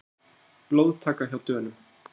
Blóðtaka hjá Dönum